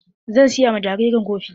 Zan siya ma jariran kofi.